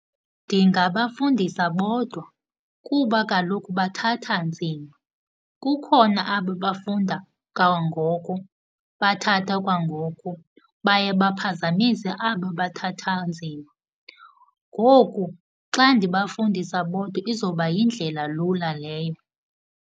Ndingabafundisa bodwa kuba kaloku bathatha nzima. Kukhona aba bafunda kangoko, bathatha kwangoko, baye baphazamise aba bathatha nzima. Ngoku xa ndibafundisa bodwa izoba yindlela lula leyo.